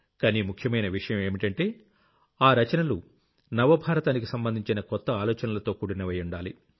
కానీ ముఖ్యమైన విషయం ఏంటంటే ఆ రచనలు నవ భారతానికి సంబంధించిన కొత్త ఆలోచనలతో కూడినవయ్యుండాలి